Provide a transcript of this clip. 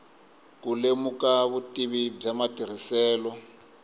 ku lemuka vutivi bya matirhiselo